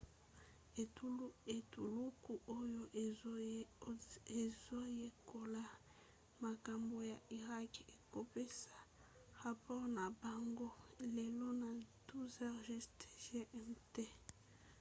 etuluku oyo ezoyekola makambo ya irak ekopesa rapore na bango lelo na 12h00 gmt